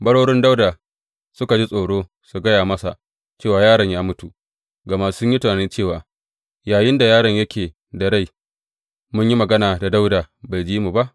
Barorin Dawuda suka ji tsoro su gaya masa cewa yaron ya mutu, gama sun yi tunani cewa, Yayinda yaron yake da rai, mun yi magana da Dawuda bai ji mu ba.